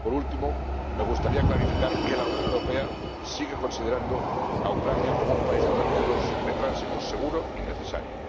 Por último, me gustaría clarificar que la Unión Europea sigue considerando a Ucrania como un país de tránsito seguro y necesario.